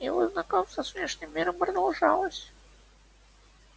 его знакомство с внешним миром продолжалось